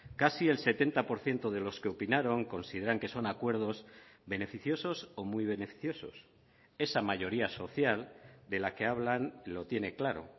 casi el setenta por ciento de los que opinaron consideran que son acuerdos beneficiosos o muy beneficiosos esa mayoría social de la que hablan lo tiene claro